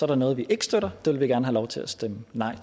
der noget vi ikke støtter det vil vi gerne have lov til at stemme nej